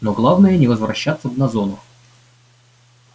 но главное не возвращаться б на зону